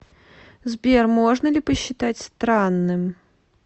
сбер можно ли посчитать странным